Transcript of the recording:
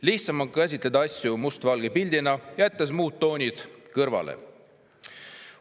Lihtsam on käsitleda asju mustvalge pildina, jättes muud toonid kõrvale.